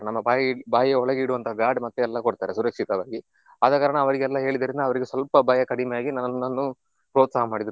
ನಮ್ಮ ಬಾಯಿ ಬಾಯಿಯ ಒಳಗೆ ಇಡುವಂತ guard ಮತ್ತೆ ಎಲ್ಲ ಕೊಡ್ತಾರೆ ಸುರಕ್ಷಿತವಾಗಿ. ಆದ ಕಾರಣ ಅವರಿಗೆಲ್ಲ ಹೇಳಿದ್ರಿಂದ ಅವರಿಗೆ ಸ್ವಲ್ಪ ಭಯ ಕಡಿಮೆಯಾಗಿ ನನ್ನನ್ನು ಪ್ರೋತ್ಸಾಹ ಮಾಡಿದ್ರು.